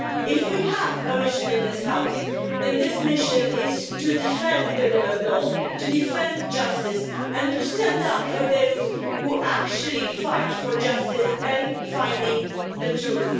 If we have a mission in this House, then this mission is to defend the rule of law, to defend justice and to stand up for those who actually fight for justice and finding the truth.